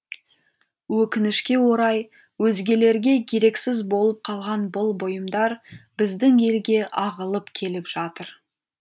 өкінішке орай өзгелерге керексіз болып қалған бұл бұйымдар біздің елге ағылып келіп жатыр